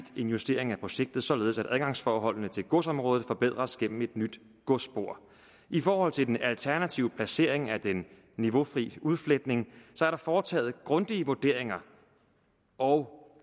en justering af projektet således at adgangsforholdene til godsområdet forbedres gennem et nyt godsspor i forhold til den alternative placering af den niveaufri udfletning er der foretaget grundige vurderinger og